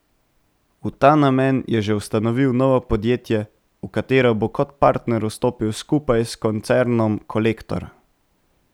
V ta namen je že ustanovil novo podjetje, v katero bo kot partner vstopil skupaj s koncernom Kolektor.